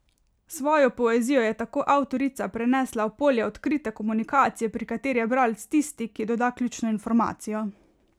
Svojo poezijo je tako avtorica prenesla v polje odkrite komunikacije, pri kateri je bralec tisti, ki doda ključno informacijo.